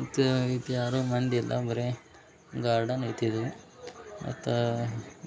ಇದು ಯಾರು ಮಂದಿ ಇಲ್ಲ ಬರ್ರೀ ಗಾರ್ಡನ್ ಐತಿ ಇದು ಮತ್ತಾ